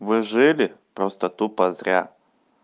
вы жили просто тупо зря